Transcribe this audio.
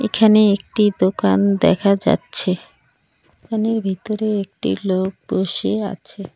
এখানে একটি দোকান দেখা যাচ্ছে। দোকানের ভিতরে একটি লোক বসে আছে।